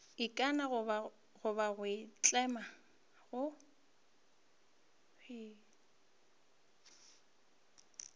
ikana goba go itlama go